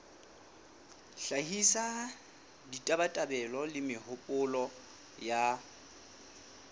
hlahisa ditabatabelo le mehopolo ya